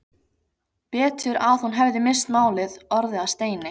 Betur að hún hefði misst málið, orðið að steini.